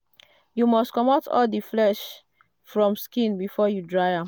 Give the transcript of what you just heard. you must comot all the flesh from skin before you dry am.